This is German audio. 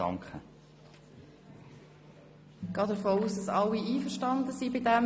Ich gehe davon aus, dass alle einverstanden sind.